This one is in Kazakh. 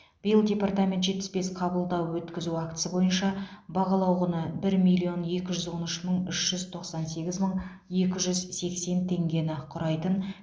биыл департамент жетпіс бес қабылдау өткізу актісі бойынша бағалау құны бір миллион екі жүз он үш мың үш жүз тоқсан сегіз мың екі жүз сексен теңгені құрайтын